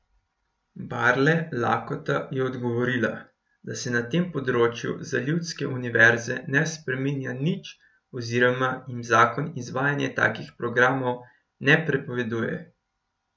Barle Lakota je odgovorila, da se na tem področju za ljudske univerze ne spreminja nič oziroma jim zakon izvajanja takih programov ne prepoveduje.